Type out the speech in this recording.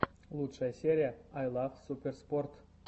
лучшая серия ай лов суперспорт